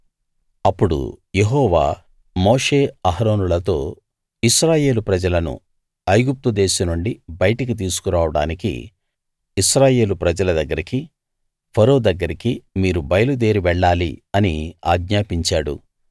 అప్పుడు యెహోవా మోషే అహరోనులతో ఇశ్రాయేలు ప్రజలను ఐగుప్తు దేశం నుండి బయటికి తీసుకురావడానికి ఇశ్రాయేలు ప్రజల దగ్గరికి ఫరో దగ్గరికి మీరు బయలుదేరి వెళ్ళాలి అని ఆజ్ఞాపించాడు